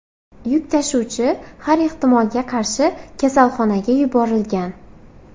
Yuk tashuvchi har ehtimolga qarshi kasalxonaga yuborilgan.